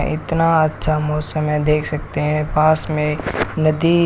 इतना अच्छा मौसम है देख सकते हैं पास में एक नदी--